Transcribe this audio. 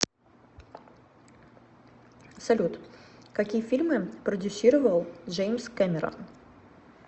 салют какие фильмы продюсировал джеимс кэмерон